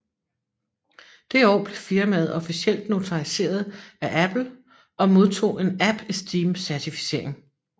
Det år blev firmaet officielt notariseret af Apple og modtog en AppEsteem Certificering